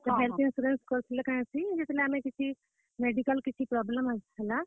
କରିଥିଲେ କାଣା ହେସି ଯେତେବେଲେ ଆମେ କିଛି, medical କିଛି problem ହେସି ନା।